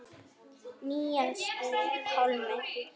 Níels Pálmi.